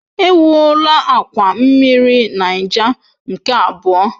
Ewuola akwa mmiri Niger nke abụọ.